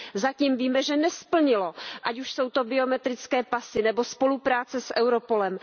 Zatím víme, že nesplnilo, ať už jsou to biometrické pasy nebo spolupráce s Europolem.